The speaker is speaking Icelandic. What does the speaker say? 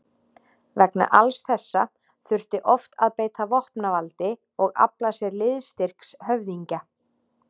Vegna alls þessa þurfti oft að beita vopnavaldi og afla sér liðstyrks höfðingja.